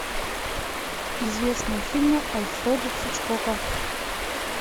известные фильмы альфреда хичкока